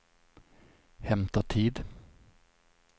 hämta tid